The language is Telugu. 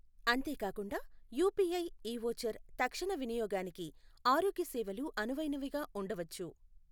అంతేకాకుండా యూపీఐ ఇ ఓచర్ తక్షణ వినియోగానికి ఆరోగ్య సేవలు అనువైనవిగా ఉండవచ్చు.